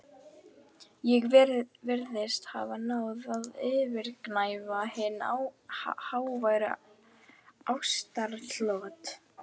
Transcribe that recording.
Ég virðist hafa náð að yfirgnæfa hin háværu ástaratlot